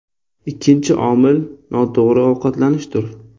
Ikkinchi omil noto‘g‘ri ovqatlanishdir.